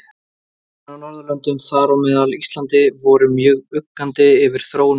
Ráðamenn á Norðurlöndum, þar á meðal Íslandi, voru mjög uggandi yfir þróun mála.